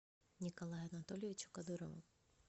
николаю анатольевичу кадырову